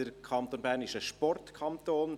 Der Kanton Bern ist ein Sportkanton.